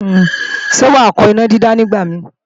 Ṣé wàá kọ́ ìnádídá nígbàmíì?